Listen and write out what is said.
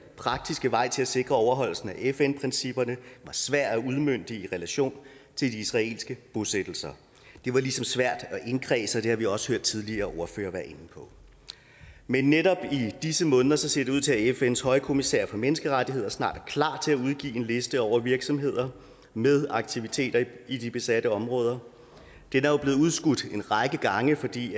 praktiske vej til at sikre overholdelsen af fn principperne var svær at udmønte i relation til de israelske bosættelser det var ligesom svært at indkredse og det har vi også hørt tidligere ordførere være inde på men netop i disse måneder ser det ud til at fns højkommissær for menneskerettigheder snart er klar til at udgive en liste over virksomheder med aktiviteter i de besatte områder den er jo blevet udskudt en række gange fordi